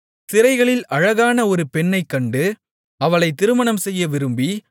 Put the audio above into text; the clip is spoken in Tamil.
சிறைகளில் அழகான ஒரு பெண்ணைக்கண்டு அவளை திருமணம்செய்ய விரும்பி